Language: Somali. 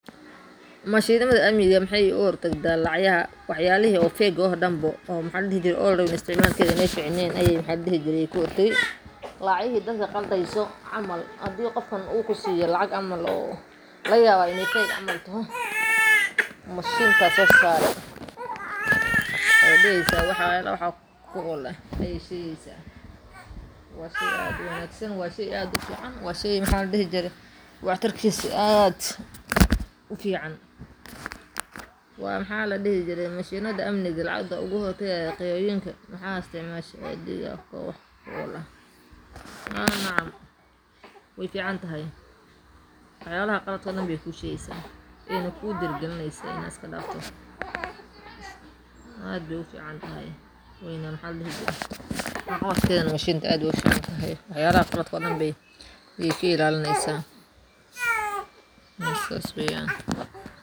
Mashinaada amniga maxee oga hortagtaa wax yalihi feg ah oo dan ba, lacagahi dadka qaldeyso laga yawa in ee feg camal taho mashinta sosarte ayey shegeysa, waa shey wax tarkisa aad ufican, waxyalaha qaaladka ayey ku shegeysa, wax yalaha cafimaadka dan aye ka ilalineysa sas waye.